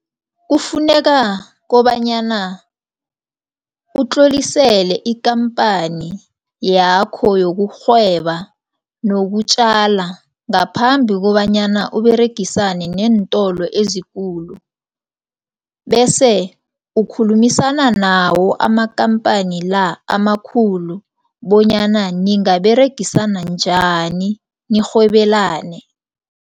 Kufuneka kobanyana utlolisele ikhamphani yakho yokurhweba nokutjala ngaphambi kobanyana uberegisane neentolo ezikulu bese ukukhulumisana nawo amakhamphani la amakhulu bonyana ningaberegisana njani nirhwebelane.